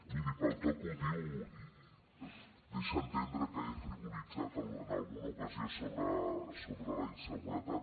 miri pel to que ho diu deixa entendre que he frivolitzat en alguna ocasió sobre la inseguretat